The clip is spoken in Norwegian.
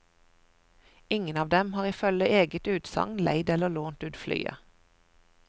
Ingen av dem har ifølge eget utsagn leid eller lånt ut flyet.